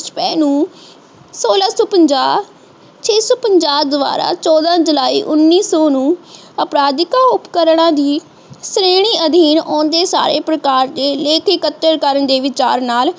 ਸੋਲਾਂ ਸੋ ਪੰਜਾਹ ਛੇਸੋ ਪੰਜਾਹਹ ਪੰਜਾਬ ਦੁਵਾਰਾ ਚੋਦਹ ਜੁਲਾਈ ਉਨੀਸੋ ਨੂੰ ਆਪਿਰਾਧਿਕਾ ਉਪਕਰਨਾਂ ਦੀ ਸ਼੍ਰੇਣੀ ਅਧੀਨ ਆਉਂਦੇ ਸਾਰੇ ਪ੍ਰਕਾਰ ਦੇ ਲੇਖ ਇਕੱਠੇ ਕਰਨ ਦੇ ਵਿਚਾਰ ਨਾਲ ਇਹਨੂੰ